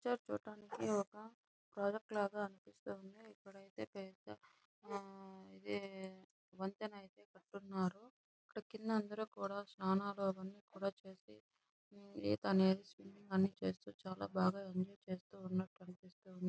ఇక్కడ పిక్చర్ చూడటానికి ఒక ప్రాజెక్ట్ లాగా అనిపిస్తుంది. ఇక్కడైతే పెద్ద ఆహ్ ఇది వంతెన అయితే కట్టి ఉన్నారు. ఇక్కడ కింద అయితే అందరు స్నానాలు అవన్నీ చేసి ఇతా అనేది చేసి చాల బాగా ఎంజాయ్ చేస్తూ ఉన్నారు అనిపిస్తుంది.